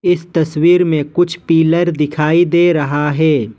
इस तस्वीर में कुछ पिलर दिखाई दे रहा है।